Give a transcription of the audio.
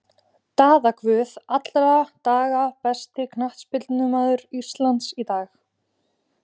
Daða Guð alla daga Besti knattspyrnumaður Íslands í dag?